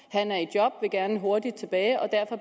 han er i job vil gerne hurtigt tilbage og derfor